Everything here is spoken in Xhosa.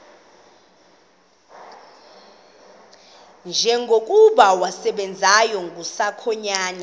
njengokuba wasebenzayo kusakhanya